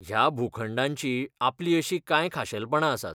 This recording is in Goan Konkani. ह्या भूखंडांचीं आपलीं अशीं कांय खाशेलपणां आसात.